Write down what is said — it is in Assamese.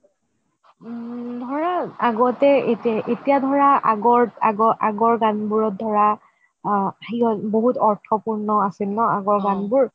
ধৰা আগতে এতিয়া ধৰা আগৰ আগৰ আগৰ গান বোৰত ধৰা বহুত অৰ্থ পূৰ্ণ আছিল ন আগৰ গান বোৰ